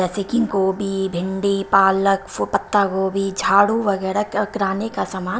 जैसे कि गोभी भिंडी पालक पत्ता गोभी झाड़ू वगैरह कराने का सम--